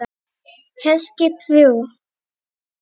HERSKIP ÞRJÚ